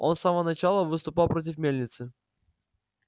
он с самого начала выступал против мельницы